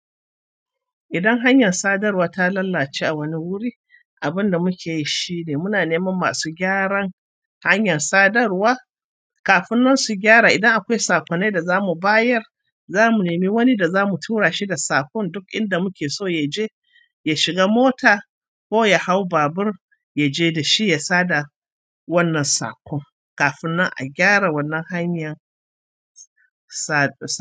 Idan hanyar sadarwa ta lalace a wani wuri, abin da muke yi shine muna neman masu gyaran hanyar sadarwa. Kafin nan su gyara, idan akwai saƙon da za mu bayar, za mu nemi wani da za mu tura shi da saƙon duk inda muke so ya je, ya shiga mota ko ya hau babur, ya je da shi ya sada wannan saƙon kafin nan a gyara wannan hanyar sadarwa.